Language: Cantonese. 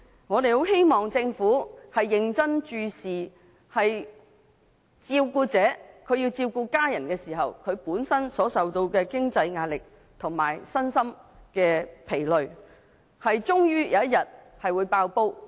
我們很希望政府認真關注照顧者，他們照顧家人時受到經濟壓力，身心疲累，終有一天會爆破。